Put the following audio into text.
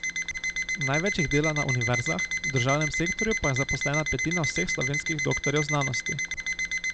Največ jih dela na univerzah, v državnem sektorju pa je zaposlena petina vseh slovenskih doktorjev znanosti.